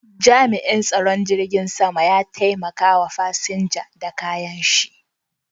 Jami'in tsaron tashar jirgin sama ya taimaka wa fasinja da kayan shi.